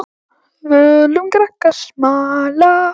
Völum krakkar smala.